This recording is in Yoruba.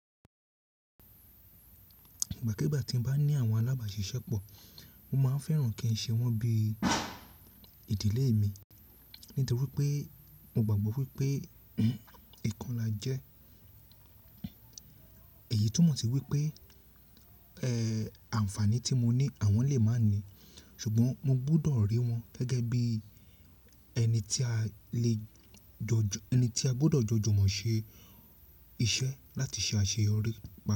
Ìgbàkígbà tí mo bá ní àwọn alábàáṣiṣẹ́ pọ̀, mo máa ń fẹ́ràn kí ń ṣe wọ́n bí ìdílé mi nítorí pé mo gbàgbọ́ wípé ìkanla jẹ́ èyí túmọ̀ sí wípé, ẹ́, àǹfààní tí mo ní àwọn lè má ní. Ṣùgbọ́n mo gbọdọ̀ rí wọn gẹ́gẹ́ bí ẹni tí a lè jọ, ẹni tí a gbọdọ̀ jójúmọ̀ ṣe iṣẹ́ láti ṣe àṣeyọrí gbogbo.